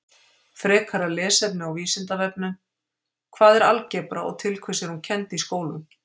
Frekara lesefni á Vísindavefnum: Hvað er algebra og til hvers er hún kennd í skólum?